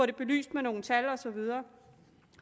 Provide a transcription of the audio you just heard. det belyst med nogle tal og så videre